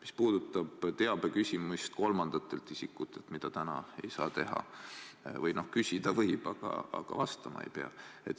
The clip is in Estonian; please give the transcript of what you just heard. Mis puudutab teabe küsimist kolmandatelt isikutelt, siis seda praegu teha ei saa, või no küsida võib, aga vastama ei pea.